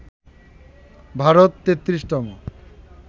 Bharat ৩৩তম